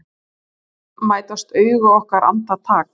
um mætast augu okkar andartak.